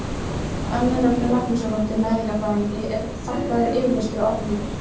Önnu Rögnu Magnúsardóttur næringarfræðingi er þakkaður yfirlestur og ábendingar.